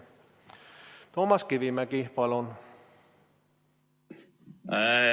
Toomas Kivimägi, palun!